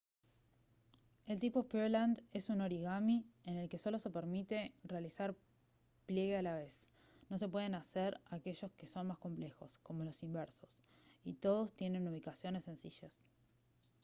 el tipo pureland es un origami en el que solo se permite realizar pliegue a la vez no se pueden hacer aquellos que son más complejos como los inversos y todos tienen ubicaciones sencillas